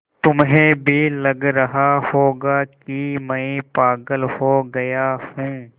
तुम्हें भी लग रहा होगा कि मैं पागल हो गया हूँ